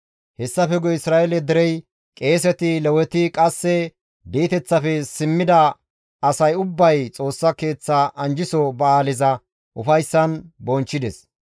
Hessafe guye Isra7eele derey, qeeseti, Leweti, qasse di7eteththafe simmida asay ubbay Xoossa Keeththa anjjiso ba7aaleza ufayssan bonchchides.